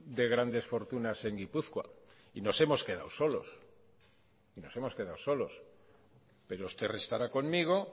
de grandes fortunas en gipuzkoa y nos hemos quedado sol pero usted estará conmigo